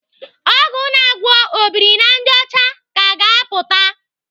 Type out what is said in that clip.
Ọgwụ na-agwọ obirinajọcha ka ga-apụta.